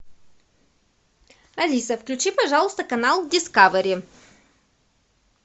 алиса включи пожалуйста канал дискавери